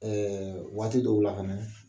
Ɛɛ waati dɔw la